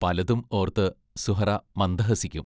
പലതും ഓർത്ത് സുഹ്റാ മന്ദഹസിക്കും.